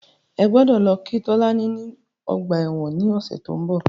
Ẹ gbọ́dọ̀ lọ kí Tolani ní ọgbà ẹ̀wọ̀n ní ọ̀sẹ̀ tí ó ń bọ̀.